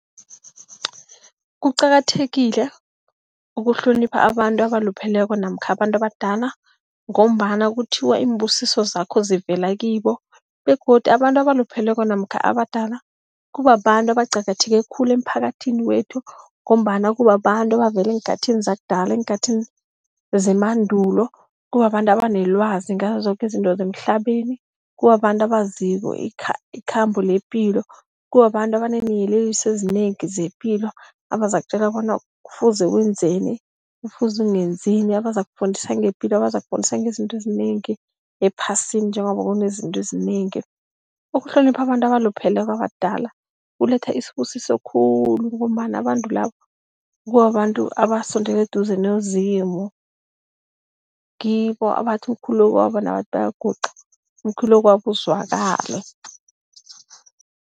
Kuqakathekile ukuhlonipha abantu abalupheleko namkha abantu abadala ngombana kuthiwa iimbusiso zakho zivela kibo begodu abantu abalupheleko namkha abadala kubabantu, abaqakatheke khulu emphakathini wethu ngombana kubabantu abavela eenkhathini zakudala, eenkhathini zemandulo. Kubabantu abanelwazi ngazo zoke izinto zemhlabeni, kubabantu abaziko ikhambo lepilo, kubabantu abaneeyeleliso ezinengi zepilo, abazakutjela bona kufuze wenzeni, kufuze ungenzini. Abazokufundisa ngepilo, abazokufundisa ngezinto ezinengi ephasini, njengoba kunezinto ezinengi. Ukuhlonipha abantu abalupheleko abadala kuletha isibusiso khulu ngombana abantu labo kubabantu abasondele eduze noZimu, ngibo abathi umkhulekwabo nabathi bayaguqa umkhulekwabo uzwakale.